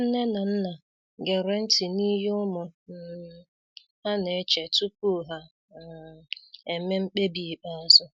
Nne na nna gere nti n'ihe ụmụ um ha na-eche tupu ha um emee mkpebi ikpeazụ.